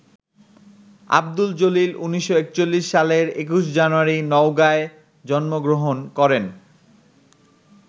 আব্দুল জলিল ১৯৪১ সালের ২১ জানুয়ারি নওগাঁয় জন্ম গ্রহণ করেন।